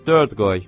Yaxşı, dörd qoy.